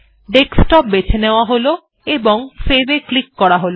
desktop বেছে নেওয়া হল এবং সেভ এ ক্লিক করা হল